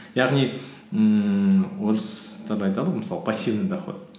яғни ммм орыстар айтады ғой мысалы пассивный доход